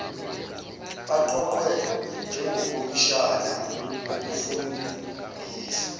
baqokwe njengokhomishina bokufungisa